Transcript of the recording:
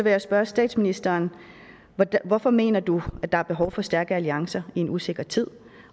jeg spørge statsministeren hvorfor mener du at der er behov for stærke alliancer i en usikker tid